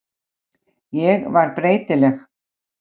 Ég var breytileg.